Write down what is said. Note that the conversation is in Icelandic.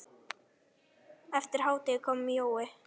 Eftir hádegi kom Jói.